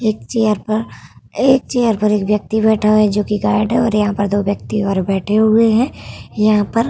एक चेयर पर एक चैर पर एक व्यक्ति बैठा है जो कि गाइड है और यहाँ पर दो व्यक्ति ओर बेठे हैं। यहाँ पर --